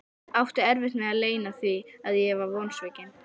Átti erfitt með að leyna því að ég var vonsvikinn.